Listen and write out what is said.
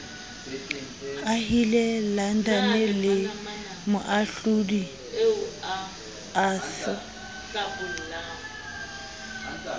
ahile london le moahlodi arthur